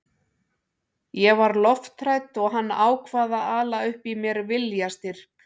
Ég var lofthrædd og hann ákvað að ala upp í mér viljastyrk.